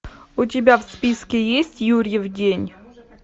у тебя в списке есть юрьев день